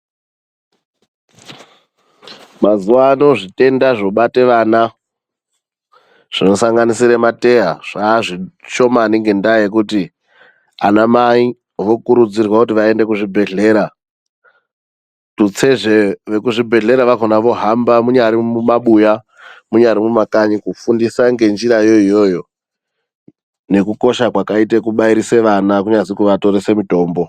Mazuvaano zvitenda zvobate vana zvinosanganisira mateya, zvaa zvishomani ngendaa yekuti anamai vokurudzirwa kuti vaende kuzvibhedhlera. Tutsezve vekuzvibhedhlera vakhona vohamba munyari mumabuya munyari mumakanyi kufundise ngenjirayo iyoyo nekukosha kwakaite kubairisa vana, kunyazi kuvatirese mitombo.